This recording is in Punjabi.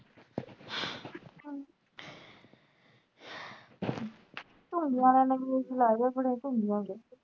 ਹੁਣ ਨਿਆਣੇ ਨੇ ਵੀ ਲਾਏ ਆ ਥੋੜੇ